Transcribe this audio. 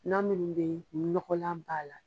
Na minnu bɛ yen ni nɔgɔlan b'a la.